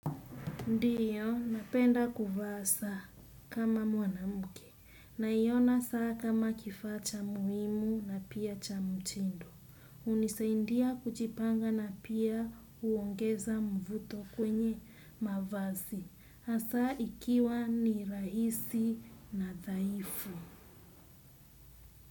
Ndiyo, napenda kuvaa saa kama mwanamke. Naiona saa kama kifaa cha muhimu na pia cha mtindo. Hunisaidia kujipanga na pia huongeza mvuto kwenye mavazi. Hasa ikiwa ni rahisi na dhaifu.